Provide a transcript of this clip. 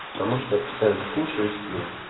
потому что я постоянно кушаю и сплю